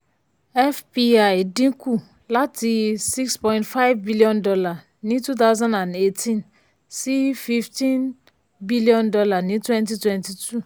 fpi dínkù láti six point five billion dollar ní two thousand and eighteen sí fifteen billion dollar ní twenty twenty two